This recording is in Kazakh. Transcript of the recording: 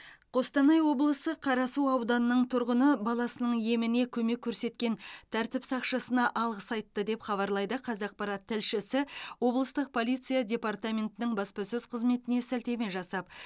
қостанай облысы қарасу ауданының тұрғыны баласының еміне көмек көрсеткен тәртіп сақшысына алғыс айтты деп хабарлайды қазақпарат тілшісі облыстық полиция департаментінің баспасөз қызметіне сілтеме жасап